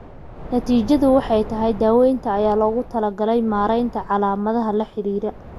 Natiijadu waxay tahay daawaynta ayaa loogu talagalay maaraynta calaamadaha la xidhiidha.